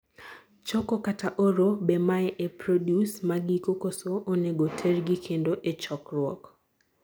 choko/oro: be mae ee produce magiko koso onego tergi kendo ee chokruok?